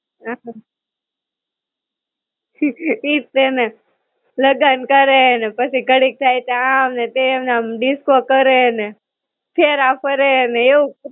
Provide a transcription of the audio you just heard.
હાવ ઈજ છે ને. લગન કરે ને પછી ઘડીક થાય તો આમ ને તેમ, ને આમ disco કરે ને, ફેરા ફરેને એવું